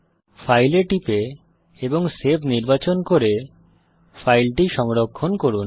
file এ টিপে এবং সেভ নির্বাচন করে ফাইলটি সংরক্ষণ করুন